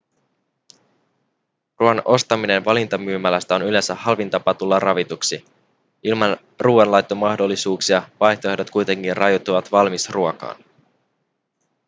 ruoan ostaminen valintamyymälästä on yleensä halvin tapa tulla ravituksi ilman ruoanlaittomahdollisuuksia vaihtoehdot kuitenkin rajoittuvat valmisruokaan